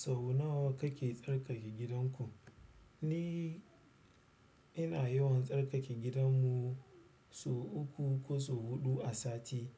Sau nawa kake tsarkake gidanku? Ni ina yawan tsarkake gidanmu sau uku ko sau huɗu a sati.